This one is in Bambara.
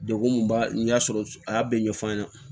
Degun min b'a n'i y'a sɔrɔ a y'a bɛɛ ɲɛf'an ɲɛna